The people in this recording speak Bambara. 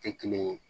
Tɛ kelen ye